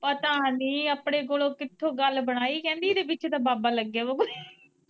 ਪਤਾ ਨੀ ਆਪਣੇ ਕੋਲੋ ਕਿੱਥੋਂ ਗੱਲ ਬਣਾਈ ਕਹਿੰਦੀ ਇਦੇ ਪਿੱਛੇ ਤਾਂ ਬਾਬਾ ਲੱਗਿਆ ਵਾ ਕੋਈ।